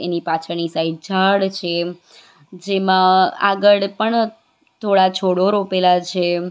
એની પાછળની સાઈડ ઝાડ છે જેમાં આગળ પણ થોડા છોડો રોપેલા છે.